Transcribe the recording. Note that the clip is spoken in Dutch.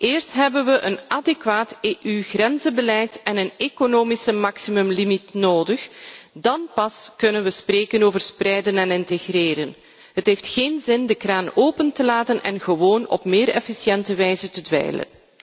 Eerst hebben we een adequaat EU grenzenbeleid en een economische maximumlimiet nodig. Dan pas kunnen we spreken over spreiden en integreren. Het heeft geen zin de kraan open te laten en gewoon op meer efficiënte wijze te dweilen.